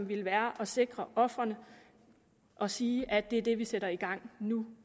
ville være at sikre ofrene og sige at det er det vi sætter i gang nu